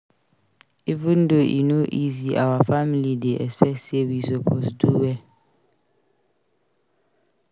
Even though e no easy our family dey expect sey we suppose do well.